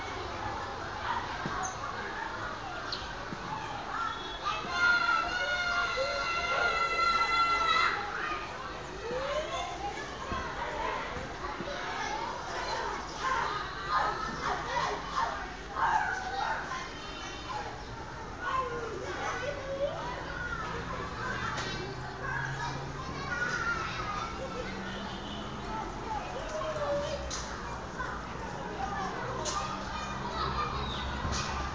ukwingozi yokutsalelwa kwiplatfomu